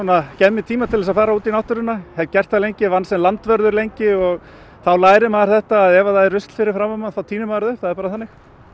gef mér tíma til þess að fara út í náttúruna hef gert það lengi ég vann sem landvörður lengi og þá lærir maður þetta að ef það er rusl fyrir framan mann þá tínir maður það upp það er bara þannig